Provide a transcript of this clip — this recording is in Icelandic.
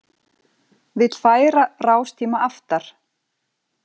Vill færa rástíma aftar